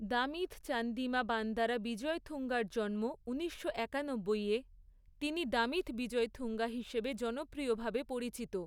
দামিথ চান্দিমা বান্দারা বিজয়থুঙ্গার জন্ম ঊনিশশো একানব্বই এ, তিনি দামিথ বিজয়থুঙ্গা হিসেবে জনপ্রিয়ভাবে পরিচিত।